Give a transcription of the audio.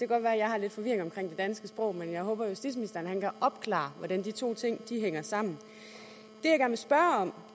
godt være jeg har lidt forvirring omkring det danske sprog men jeg håber justitsministeren kan opklare hvordan de to ting hænger sammen